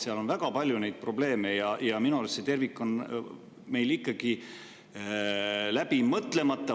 Seal on väga palju probleeme ja minu arust see tervik on meil läbi mõtlemata.